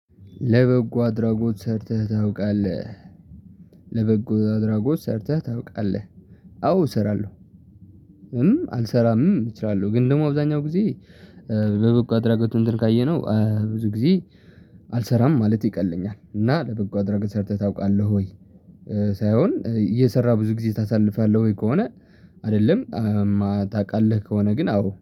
ለበጎ አድራጎት ሰርተህ ታውቃለህ? ለበጎ አድራጎት ሰርተህ ታውቃለህ? አዎ እሰራለሁ። አልሰራምም እችላለሁ ግን ደግሞ አብዛኛው ጊዜ በበጎ አድራጎት እንትን ካየነው ብዙ ጊዜ አልሰራም ማለት ይቀለኛል። እና ለበጎ አድራጎት ሰርተህ ታውቃለህ ወይ? ሳይሆን እየሰራ ብዙ ጊዜ ታሳልፋለህ ወይ ከሆነ? አደለም። ታቃለህ ከሆነ ግን አዎ